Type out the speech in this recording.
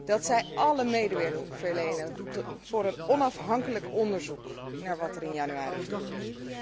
Dat zij alle medewerking verleent voor een onafhankelijk onderzoek naar wat er in januari gebeurde.